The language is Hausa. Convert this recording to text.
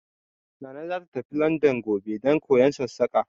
Nana za ta tafi Landan gobe don koyon Sassaƙa